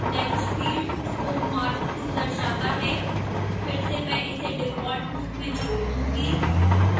text field bookmark 2 दर्शाता है फिर से मैं इसे डिफॉल्ट रूप में छोड़ दूंगी